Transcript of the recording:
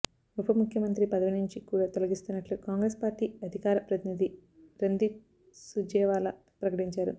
ఉప ముఖ్యమంత్రి పదవి నుంచి కూడా తొలగిస్తున్నట్లు కాంగ్రెస్ పార్టీ అధికార ప్రతినిధి రణ్దీప్ సూర్జేవాలా ప్రకటించారు